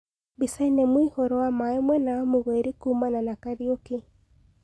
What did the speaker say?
Mbicaine mũihoro wa maĩ mwena wa mũgoiri kuumana na Kariuki